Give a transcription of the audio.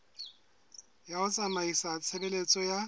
ya ho tsamaisa tshebeletso ya